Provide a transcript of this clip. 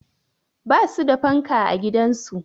Ba su da fanka a gidansu